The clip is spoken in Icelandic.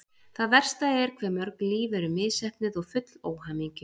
Það versta er hve mörg líf eru misheppnuð og full óhamingju.